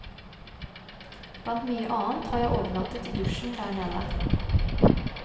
Blant mye annet har jeg overnattet i dusjen der nede.